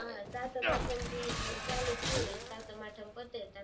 હા સાતમ-આઠમ થી ચાલુ થયું હોય સાતમ-આઠમ પતે ત્યાં